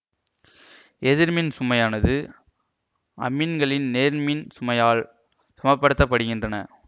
எதிர்மின் சுமையானது அமீன்களின் நேர்மின் சுமையால் சமப்படுத்தப்படுகின்றன